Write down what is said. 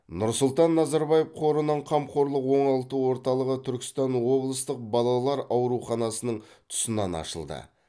нұрсұлтан назарбаев қорының қамқорлық оңалту орталығы түркістан облыстық балалар ауруханасының тұсынан ашылды